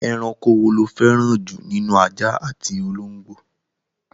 Ẹranko wo lo fẹ́ràn jù nínú ajá àti ológbò?